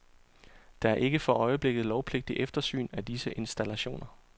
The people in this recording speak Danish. Der er ikke for øjeblikket lovpligtig eftersyn af disse installationer.